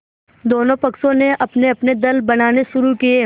दोनों पक्षों ने अपनेअपने दल बनाने शुरू किये